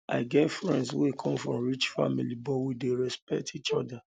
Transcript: i get friends wey come from rich family but we dey respect each oda